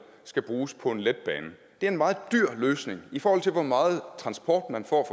skal bruges på en letbane det er en meget dyr løsning i forhold til hvor meget transport man får